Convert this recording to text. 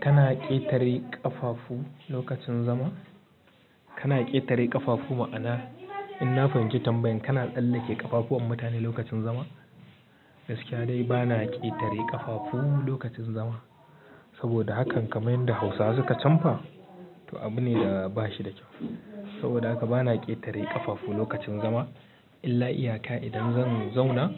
Kana ƙetare ƙafafu lokacin zama? Kana ƙetare ƙafafu ma'ana in na fahimci tambayan kana tsalla ke ƙafafuwan mutane lokacin zama? Gaskiya dai bana ƙetare ƙafafu lokacin zama. Saboda hakan kamai da Hausawa suka camba, to abu ne da bashi da kyau. Saboda haka bana ƙetare ƙafafu lokacin zama. Illa iyaka idan zan zauna